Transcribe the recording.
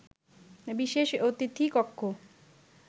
বিশেষ অতিথি কক্ষ